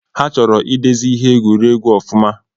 Ha chọrọ idezi iheegwuregwue ọfụma